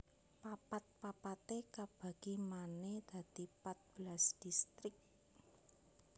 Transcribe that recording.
Papat papaté kabagi manè dadi pat belas distrik